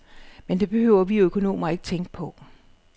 Men det behøver vi økonomer ikke tænke på.